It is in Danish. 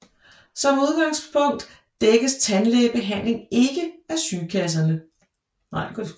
Som udgangspunkt dækkes tandlægebehandling ikke af sygekasserne